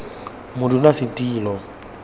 modulasetulo